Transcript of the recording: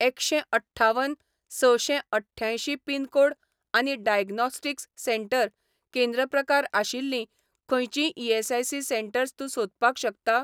एकशें अठ्ठावन सशें अठ्ठ्यांयशीं पिनकोड आनी डायग्नोस्टिक्स सेंटर केंद्र प्रकार आशिल्लीं खंयचींय ईएसआयसी सेटंर्स तूं सोदपाक शकता ?